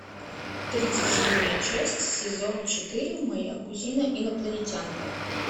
тридцать седьмая часть сезон четыре моя кузина инопланетянка